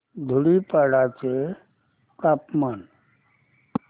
धुडीपाडा चे तापमान